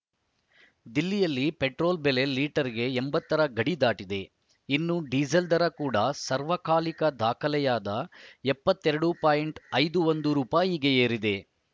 ದಿಲ್ಲಿಯಲ್ಲಿ ಪೆಟ್ರೋಲ್‌ ಬೆಲೆ ಲೀಟರ್‌ಗೆ ಎಂಬತ್ತ ರ ಗಡಿ ದಾಟಿದೆ ಇನ್ನು ಡೀಸೆಲ್‌ ದರ ಕೂಡ ಸಾರ್ವಕಾಲಿಕ ದಾಖಲೆಯಾದ ಎಪ್ಪತ್ತ್ ಎರಡು ಪಾಯಿಂಟ್ ಐದು ಒಂದು ರುಪಾಯಿಗೆ ಏರಿದೆ